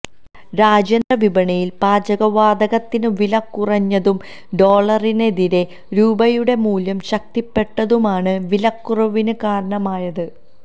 രാജ്യാന്തര വിപണിയില് പാചകവാതകത്തിന് വില കുറഞ്ഞതും ഡോളറിനെതിരേ രൂപയുടെ മൂല്യം ശക്തിപ്പെട്ടതുമാണ് വിലകുറവിന് കാരണമായത്